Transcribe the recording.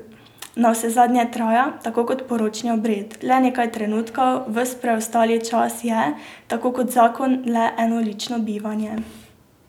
Navsezadnje traja, tako kot poročni obred, le nekaj trenutkov, ves preostali čas je, tako kot zakon, le enolično bivanje.